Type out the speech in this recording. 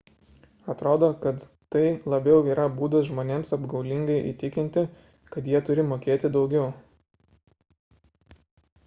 atrodo kad tai labiau yra būdas žmonėms apgaulingai įtikinti kad jie turi mokėti daugiau